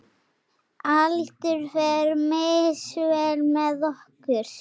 Aldur fer misvel með okkur.